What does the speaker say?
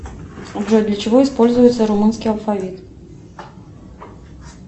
джой для чего используется румынский алфавит